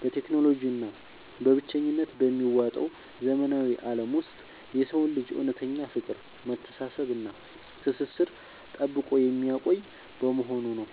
በቴክኖሎጂ እና በብቸኝነት በሚዋጠው ዘመናዊ ዓለም ውስጥ የሰውን ልጅ እውነተኛ ፍቅር፣ መተሳሰብ እና ትስስር ጠብቆ የሚያቆይ በመሆኑ ነው።